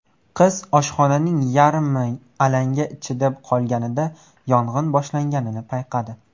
Qiz oshxonaning yarmi alanga ichida qolganida yong‘in boshlanganini payqadi.